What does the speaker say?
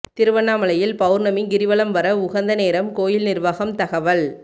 திருவண்ணாமலையில் பவுர்ணமி கிரிவலம் வர உகந்த நேரம் கோயில் நிர்வாகம் தகவல்